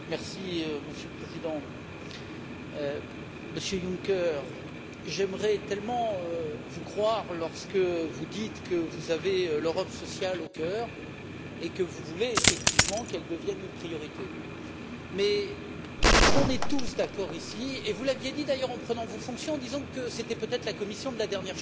Monsieur le Président, Monsieur Juncker, j'aimerais tellement vous croire lorsque vous dites que vous avez l'Europe sociale au cœur et que vous voulez effectivement qu'elle devienne une priorité. Nous sommes tous d'accord ici vous aviez dit d'ailleurs en prenant vos fonctions que c'était peut être la Commission de la dernière chance